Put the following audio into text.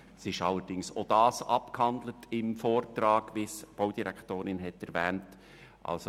Allerdings ist auch dieses Thema im Vortrag abgehandelt worden, wie es die Baudirektorin erwähnt hat.